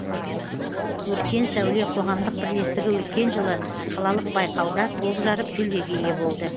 өркен сәуле қоғамдық бірлестігі өткен жылы қалалық байқауда топ жарып жүлдеге ие болды